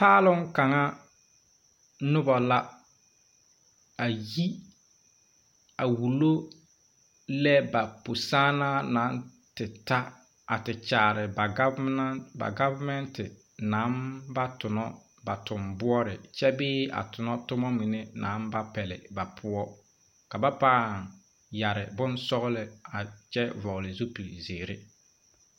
Paalong kaŋa nobɔ la a yi a wullo lɛ ba pusããnaa nang te ta a te kyaare ba gɔvenente nang ba tonɔ ba tonbɔɔre kyɛ bee a tonotomma mine naŋ ba pɛlle ba poɔ ka ba pãã yɛre bonsɔglɔ a kyɛ vɔgle zupil zeere.